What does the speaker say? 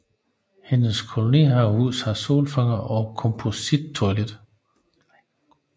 Hendes kolonihavehus har solfanger og komposttoilet